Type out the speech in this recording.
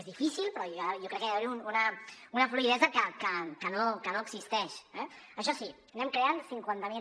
és difícil però jo crec que ha d’haver hi una fluïdesa que no existeix eh això sí anem creant cinquanta mil